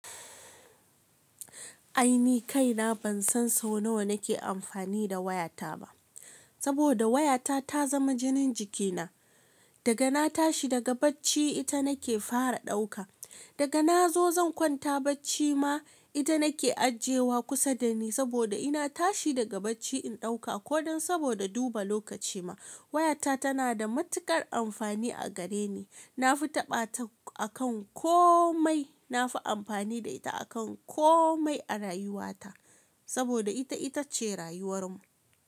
Ai ni kaina ban san so nawa nake amfani da wayata ba, saboda wayata ta zama jinin jikina. Daga na tashi daga bacci ita nake fara ɗauka, daga na zo zan kwanta bacci ma ita nake ajiyewa kusa dani saboda ina tashi daga bacci in ɗauka ko saboda duba lokaci ma. Wayata tana da matuƙar amfani a gare ni. Na fi taɓa ta akan komai, na fi amfani da ita akan komai a rayuwata saboda ita ita ce rayuwar mu.